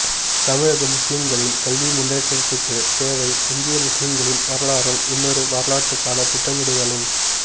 தமிழக முஸ்லிம்களின் கல்வி முன்னேற்றத்திற்குத் தேவை இந்திய முஸ்லிம்களின் வரலாறும் இன்னொரு வரலாற்றுக்கான திட்டமிடுதலும்